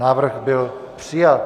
Návrh byl přijat.